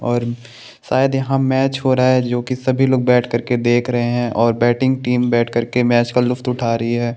और शायद यहाँ मैच हो रहा है जो की सभी लोग बैठ करके देख रहे है और बैटिंग टीम बैठ करके मैच का लुफ्त उठा रही है।